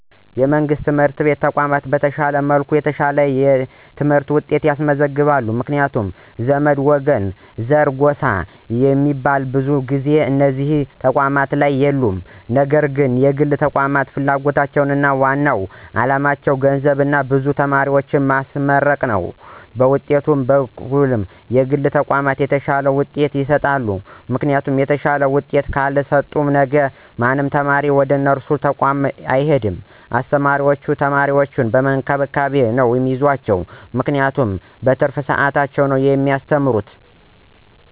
የመንግሥት የትምህርት ተቋማት በተሻለ መልኩ የተሻለ የትምህርት ውጤት ያስመዘግባሉ ምክንያቱም ዘመድ፣ ወገን፣ ዘር፣ ጎሳ ሚባል ብዙ ጊዜ እነዚህ ተቋማት ላይ የሉም ነገር ግን የግል ተቋማት ፍላጎታቸው ዋናው አላማቸው ገንዘብና ብዙ ተማሪዎችን ማስመረቅ ነው በውጤት በኩልም የግል ተቋማት የተሻለ ውጤት ይሰጣሉ ምክንያቱም የተሻለ ውጤት ካልሰጡ ነገ ማንም ተማሪ ወደነሱ ተቋም አይሄድም አስተማሪዎችም ተማሪዎችን በእንክብካቤ ነው ሚይዟቸው ምክንያቱም በትርፍ ሰዓታቸው ነው ሚያስተምሩት።